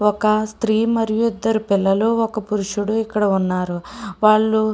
ఒక స్త్రీ మరియు ఇద్దరు పిల్లలు మరియు ఒక పురుషుడు ఇక్కడ ఉన్నారు వాళ్ళు --